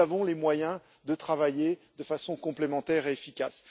Nous avons les moyens de travailler de façon complémentaire et efficace.